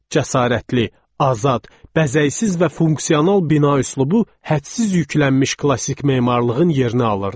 Cəsarətli, azad, bəzəksiz və funksional bina üslubu hədsiz yüklənmiş klassik memarlığın yerini alırdı.